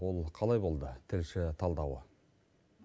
ол қалай болды тілші талдауы